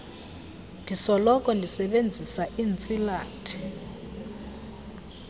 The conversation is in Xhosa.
ndisoloko ndisebenzisa iintsilathi